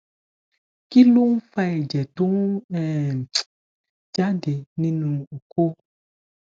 kí ló ń fa ẹjẹ tó ń um jáde nínú oko